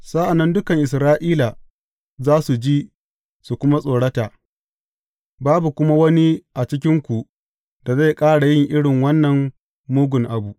Sa’an nan dukan Isra’ila za su ji su kuma tsorata, babu kuma wani a cikinku da zai ƙara yin irin wannan mugun abu.